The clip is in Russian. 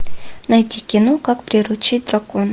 найти кино как приручить дракона